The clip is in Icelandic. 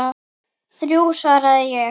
Þrjú, svaraði ég.